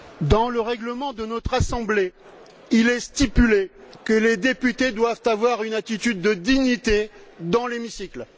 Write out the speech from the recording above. Dans le règlement de notre Assemblée, il est stipulé que les députés doivent avoir une attitude de dignité dans l'hémicycle.